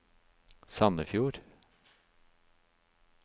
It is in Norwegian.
Sandefjord